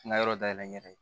N ka yɔrɔ dayɛlɛ n yɛrɛ ye